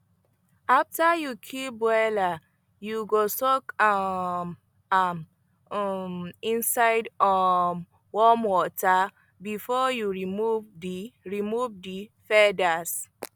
after you kill broiler you go soak um am um inside um warm water before you remove the remove the feathers